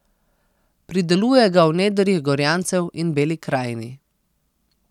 Prideluje ga v nedrjih Gorjancev in Beli krajini.